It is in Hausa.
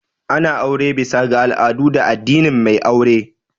Ana aure bisa ga al'adu da addinin mai aure